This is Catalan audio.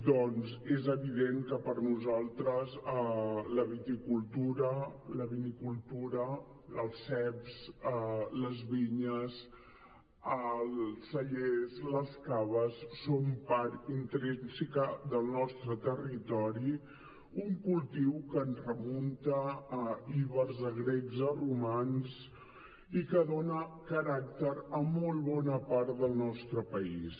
doncs és evident que per nosaltres la viticultura la vinicultura els ceps les vinyes els cellers les caves són part intrínseca del nostre territori un cultiu que ens remunta a ibers a grecs a romans i que dona caràcter a molt bona part del nostre país